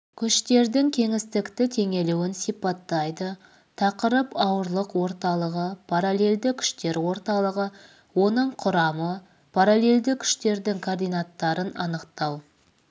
күштердің кеңістікті теңелуін сипаттайды тақырып ауырлық орталығы параллельді күштер орталығы оның құрамы параллельді күштердің координаттарын анықтау